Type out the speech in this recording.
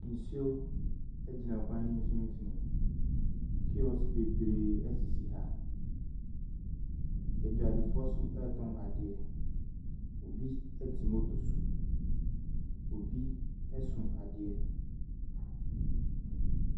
Nsuo a ɛgyina kwan no mfimfini kiosk bebiree ɛsese ha dwadifo nsu ɛtɔn adeɛ obi te motor so obi soa adeɛ.